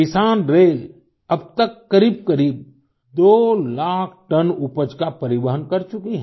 किसानरेल अब तक करीब करीब 2 लाख टन उपज का परिवहन कर चुकी है